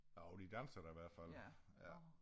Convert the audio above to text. Jo de danser da i hvert fald